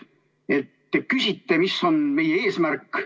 Te küsite, mis on meie eesmärk.